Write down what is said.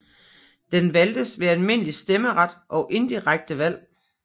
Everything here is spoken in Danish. Den valgtes ved almindelig stemmeret og indirekte valg